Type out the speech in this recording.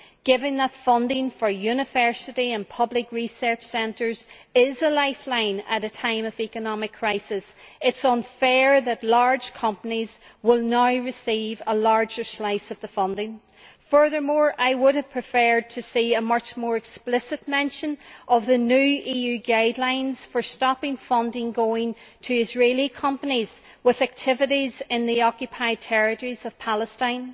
Given that funding for university and public research centres is a lifeline at a time of economic crisis, it is unfair that large companies will now receive a larger slice of the funding. Furthermore, I would have preferred to see a much more explicit mention of the new EU guidelines for preventing funding going to Israeli companies with activities in the occupied territories of Palestine.